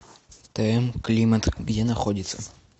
тм климат где находится